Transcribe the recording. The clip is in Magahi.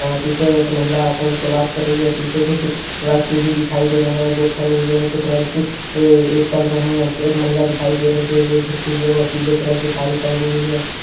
यहाँ पीछे एक महिला फ़ोन से बात कर रही है और पीछे कुछ व्यक्ति भी दिखाई दे रहे है जो खड़े हुए है कुछ व्यक्ति अ-अ चल रहे है एक महिला दिखाई दे रहे है जो झुकी हुई है वो पीले कलर की साड़ी पहनी हुई है।